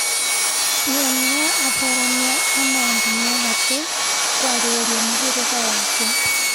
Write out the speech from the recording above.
Nĩ ũmwe wa atheremia a maũndũ me gatũ kwarĩrĩria mũhĩrĩga wake.